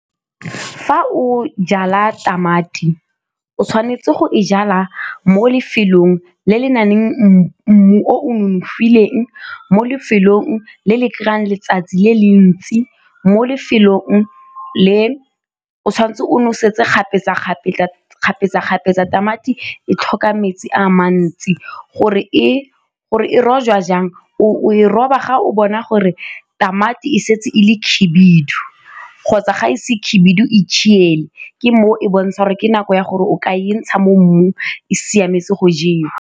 Fa o jala tamati, o tshwanetse go e jala mo lefelong le le na leng mmu o nonofileng, mo lefelong le le kry-ang letsatsi le le ntsi, mo lefelong le o tshwanetse o nosetse kgapetsa-kgapetsa tamati e tlhoka metsi a mantsi. Gore e rojwa jang, o e roba ga o bona gore tamati e setse e le khibidu kgotsa ga e se khibidu e ke mo e bontsha gore ke nako ya gore o ka e ntsha mo mmung, e siametse go jewa.